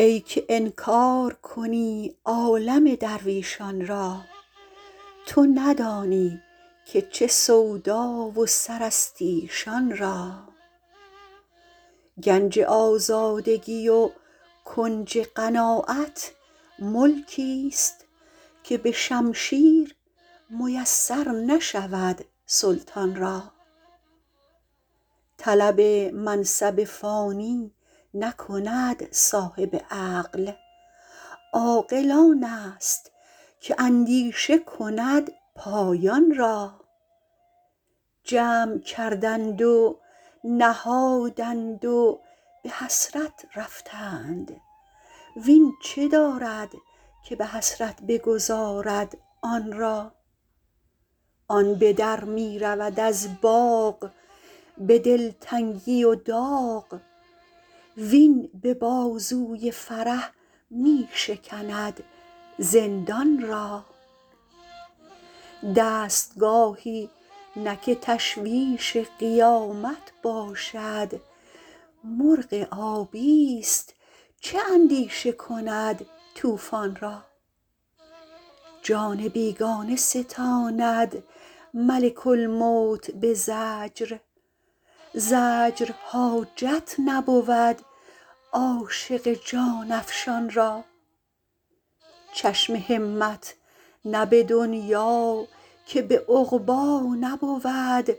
ای که انکار کنی عالم درویشان را تو ندانی که چه سودا و سر است ایشان را گنج آزادگی و کنج قناعت ملکیست که به شمشیر میسر نشود سلطان را طلب منصب فانی نکند صاحب عقل عاقل آن است که اندیشه کند پایان را جمع کردند و نهادند و به حسرت رفتند وین چه دارد که به حسرت بگذارد آن را آن به در می رود از باغ به دلتنگی و داغ وین به بازوی فرح می شکند زندان را دستگاهی نه که تشویش قیامت باشد مرغ آبیست چه اندیشه کند طوفان را جان بیگانه ستاند ملک الموت به زجر زجر حاجت نبود عاشق جان افشان را چشم همت نه به دنیا که به عقبی نبود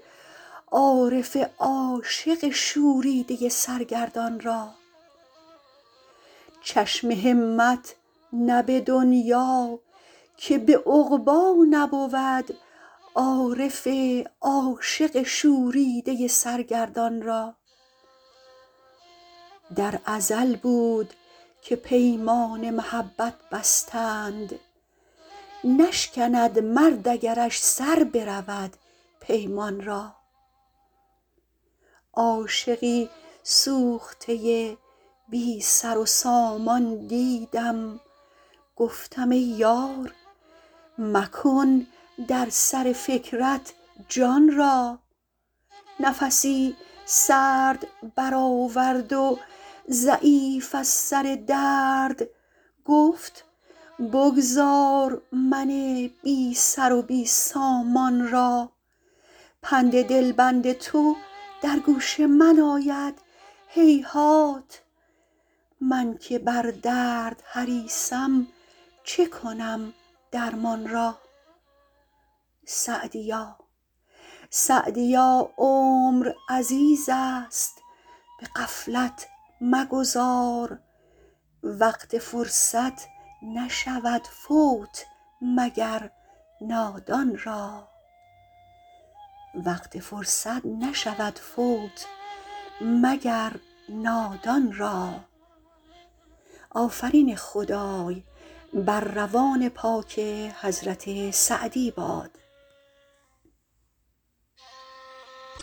عارف عاشق شوریده سرگردان را در ازل بود که پیمان محبت بستند نشکند مرد اگرش سر برود پیمان را عاشقی سوخته بی سر و سامان دیدم گفتم ای یار مکن در سر فکرت جان را نفسی سرد برآورد و ضعیف از سر درد گفت بگذار من بی سر و بی سامان را پند دلبند تو در گوش من آید هیهات من که بر درد حریصم چه کنم درمان را سعدیا عمر عزیز است به غفلت مگذار وقت فرصت نشود فوت مگر نادان را